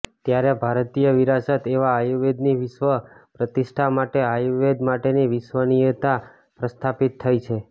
ત્યારે ભારતીય વિરાસત એવા આયુર્વેદની વિશ્વ પ્રતિષ્ઠા માટે આયુર્વેદ માટેની વિશ્વસનિયતા પ્રસ્થાપિત થઇ છે